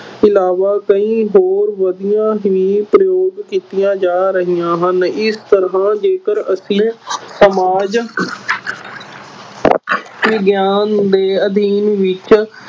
ਇਲਾਵਾ ਕਈ ਹੋਰ ਵਿੱਧੀਆ ਵੀ ਪ੍ਰਯੋਗ ਕੀਤੀਆ ਜਾ ਰਹੀਆਂ ਹਨ ਇਸ ਤਰ੍ਹਾਂ ਜੇਕਰ ਅਸੀਂ ਸਮਾਜ ਵਿਗਿਆਨ ਦੇ ਅਧਿਐਨ ਵਿਚ